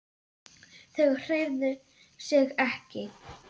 Þau hreyfðu sig ekki.